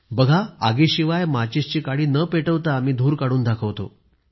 बघा आगीशिवाय माचिसची काडी न पेटवता मी धूर काढून दाखवतो